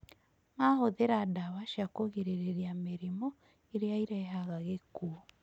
Mahũthĩra dawa cia kũgirĩria mĩrimũ ĩrĩa irehaga gĩkuũ